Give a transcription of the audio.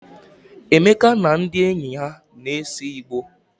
Emeka na ndị enyi ya na-ese igbo.